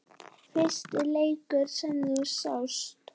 Fyrsti leikur sem þú sást?